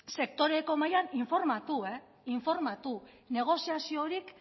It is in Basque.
sektoreko mahaian informatu negoziaziorik